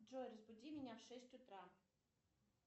джой разбуди меня в шесть утра